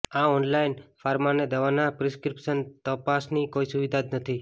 આ ઓનલાઈન ફાર્માને દવાના પ્રિસ્ક્રીપ્શન તપાસની કોઈ સુવિધા જ નથી